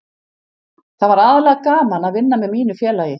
Það var aðallega gaman að vinna með mínu félagi.